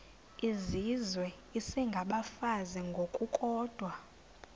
izizwe isengabafazi ngokukodwa